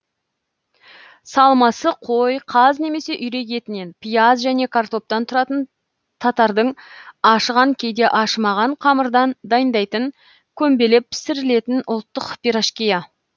салмасы қой қаз немесе үйрек етінен пияз және картоптан тұратын татардың ашыған кейде ашымаған қамырдан дайындайтын көмбелеп пісірілетін ұлттық пирожкиі